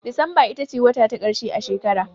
Disamba ita ce wata ta ƙarshe a shekara.